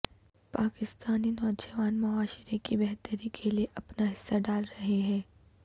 پاکستانی نوجوان معاشرے کی بہتری کے لیے اپنا حصہ ڈال رہے ہیں